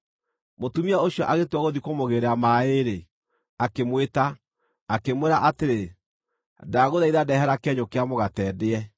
Mũtumia ũcio agĩtua gũthiĩ kũmũgĩĩrĩra maaĩ-rĩ, akĩmwĩta, akĩmwĩra atĩrĩ, “Ndagũthaitha ndehera kĩenyũ kĩa mũgate ndĩe.”